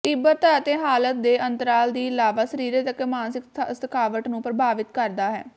ਤੀਬਰਤਾ ਅਤੇ ਹਾਲਤ ਦੇ ਅੰਤਰਾਲ ਦੀ ਇਲਾਵਾ ਸਰੀਰਕ ਅਤੇ ਮਾਨਸਿਕ ਥਕਾਵਟ ਨੂੰ ਪ੍ਰਭਾਵਿਤ ਕਰਦਾ ਹੈ